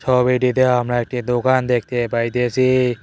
ছবিটিতে আমার একটি দোকান দেখতে পাইতেসি।